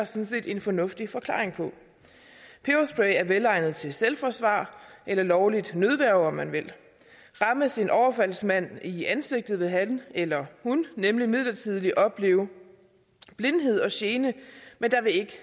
set en fornuftig forklaring på peberspray er velegnet til selvforsvar eller lovligt nødværge om man vil rammes en overfaldsmand i ansigtet vil han eller hun nemlig midlertidigt opleve blindhed og gene men der vil ikke